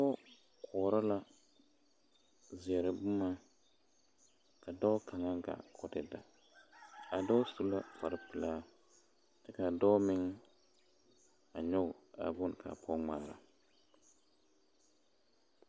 Pɔge koɔrɔ la zeɛre boma ka dɔɔ kaŋa gaa k'o te da a dɔɔ su la kpare pelaa kyɛ ka a dɔɔ meŋ a nyɔge a boŋ ka a pɔge ŋmaara.